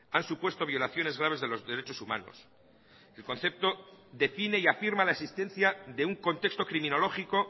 han supuesto violaciones graves de los derechos humanos el concepto define y afirma la existencia de un contexto criminológico